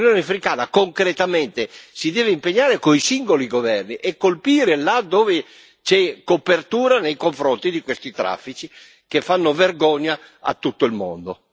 L'Unione africana concretamente si deve impegnare coi singoli governi e colpire là dove c'è copertura nei confronti di questi traffici che fanno vergogna a tutto il mondo.